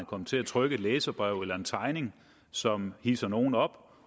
komme til at trykke et læserbrev eller en tegning som hidser nogle op